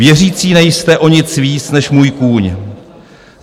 Věřící nejste o nic víc než můj kůň.